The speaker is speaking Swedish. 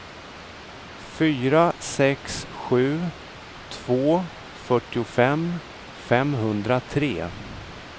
fyra sex sju två fyrtiofem femhundratre